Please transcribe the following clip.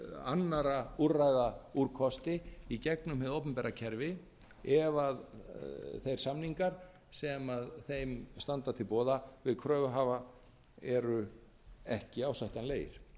annarra úrræða úrkosti í gegnum hið opinbera kerfi ef þeir samningar sem þeim standa til boða við kröfuhafa eru ekki ásættanlegir